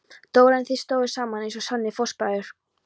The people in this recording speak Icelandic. Dóra en þeir stóðu saman eins og sannir fóstbræður.